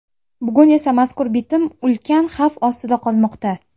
Bugun esa mazkur bitim ulkan xavf ostida qolmoqda.